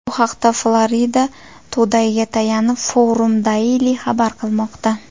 Bu haqda Florida Today’ga tayanib, Forum Daily xabar qilmoqda .